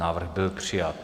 Návrh byl přijat.